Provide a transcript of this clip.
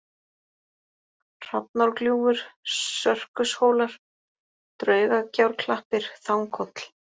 Hrafnárgljúfur, Sörkushólar, Draugagjárklappir, Þanghóll